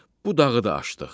Bu dağı da aşdıq.